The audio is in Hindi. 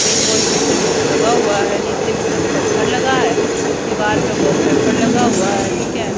एक वॉश बेसिन लगा हुआ है नीचे की तरफ पत्थर लगा है दीवार पर वॉलपेपर लगा हुआ है ठीक है।